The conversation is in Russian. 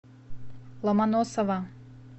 ломоносова